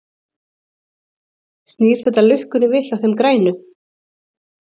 Snýr þetta lukkunni við hjá þeim grænu?